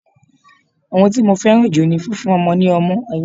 oun ti mo fẹràn ju ni fífún ọmọ ni ọmu